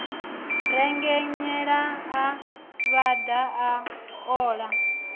rengenyela a vhaḓa a ola